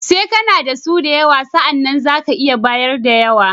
Sai kana da su da yawa, sa'anan za ka iya bayar da yawa.